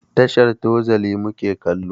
Tashar Tozali mu ke kallo.